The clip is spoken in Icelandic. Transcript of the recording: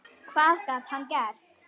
Hvað gat hann gert?